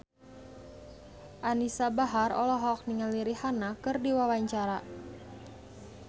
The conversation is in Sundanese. Anisa Bahar olohok ningali Rihanna keur diwawancara